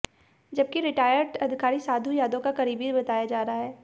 जबकि रिटायर्ड अधिकारी साधु यादव का करीबी बताया जा रहा है